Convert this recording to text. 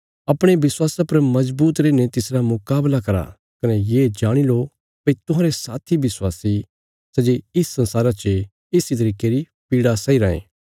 अपणे विश्वासा पर मजबूत रैईने तिसरा मुकाबला करा कने ये जाणी लो भई तुहांरे साथी विश्वासी सै जे इस संसारा चे इस इ तरिके री पीड़ा सैई रायें